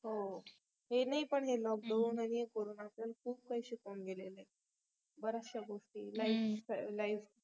हो हे नाही पण lockdown corona च खूप काही शिकवून गेलेलं आहे बर्‍याचश्या गोस्टी life